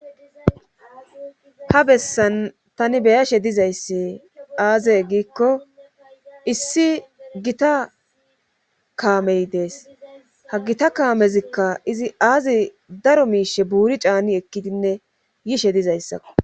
ha bessan tani beyashe dizayssi aazey giikko issi gita kaamey dees ha gita kaamezikka izi aazi daro miishe buuri caani ekkidinne yishe dizayssakko